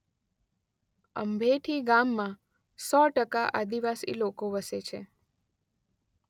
અંભેઠી ગામમાં સો ટકા આદિવાસી લોકો વસે છે.